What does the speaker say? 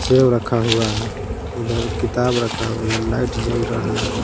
सेब रखा हुआ है उधर किताब रखा हुआ उधर लाइट जल रहा है।